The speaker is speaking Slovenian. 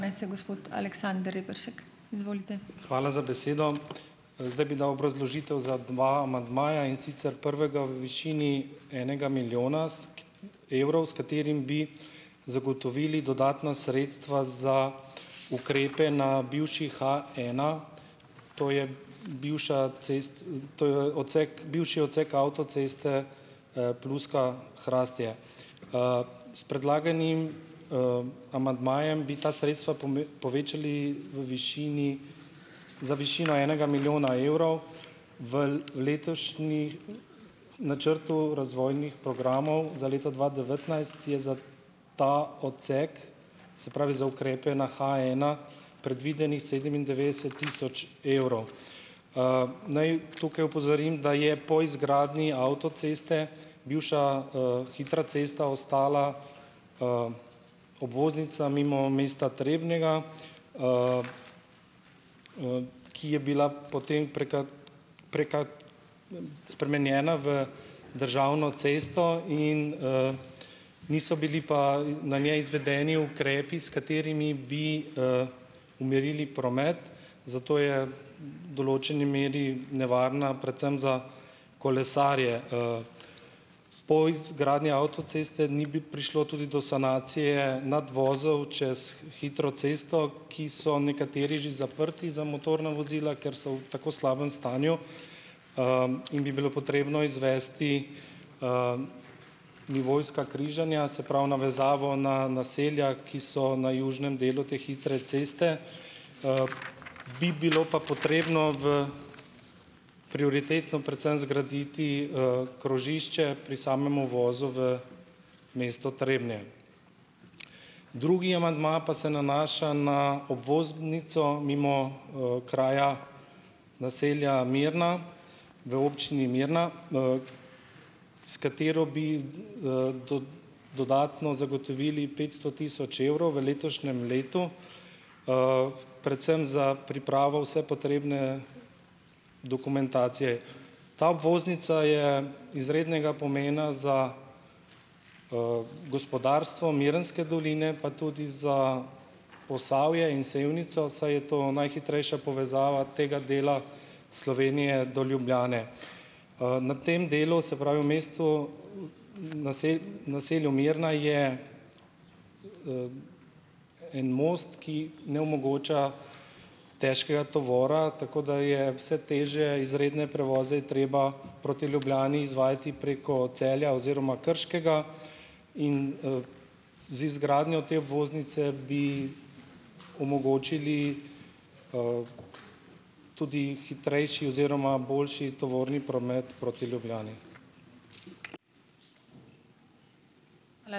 Hvala za besedo. Zdaj bi dal obrazložitev za dva amandmaja, in sicer prvega v višini enega milijona s evrov, s katerim bi zagotovili dodatna sredstva za ukrepe na bivši H ena, to je bivša to odsek bivši odsek avtoceste, Pluska-Hrastje. S predlaganim, amandmajem bi ta sredstva povečali v višini za višino enega milijona evrov. V letošnjem načrtu razvojnih programov za leto dva devetnajst je za ta odsek, se pravi, za ukrepe na G ena predvidenih sedemindevetdeset tisoč evrov. Naj tukaj opozorim, da je po izgradnji avtoceste, bivša, hitra cesta ostala, obvoznica mimo mesta Trebnjega, ki je bila potem spremenjena v državno cesto in, niso bili pa, na njej izvedeni ukrepi, s katerimi bi, umirili promet, zato je v določeni meri nevarna predvsem za kolesarje, Po izgradnji avtoceste ni bi prišlo tudi do sanacije nadvozov čez hitro cesto, ki so nekateri že zaprti za motorna vozila, ker so v tako slabem stanju, in bi bilo potrebno izvesti, nivojska križanja, se pravi, navezavo na naselja, ki so na južnem delu te hitre ceste, bi bilo pa potrebno v prioritetno predvsem zgraditi, krožišče pri samem uvozu v mesto Trebnje. Drugi amandma pa se nanaša na obvoznico mimo, kraja naselja Mirna v Občini Mirna, s katero bi, dodatno zagotovili petsto tisoč evrov v letošnjem letu, predvsem za pripravo vse potrebne dokumentacije. Ta obvoznica je izrednega pomena za, gospodarstvo Mirnske doline pa tudi za Posavje in Sevnico, saj je to najhitrejša povezava tega dela Slovenije do Ljubljane. Na tem delu, se pravi, v mestu naselju Mirna je, en most, ki ne omogoča težkega tovora, tako da je vse težje izredne prevoze je treba proti Ljubljani izvajati preko Celja oziroma Krškega in, z izgradnjo te obvoznice bi omogočili, tudi hitrejši oziroma boljši tovorni promet proti Ljubljani.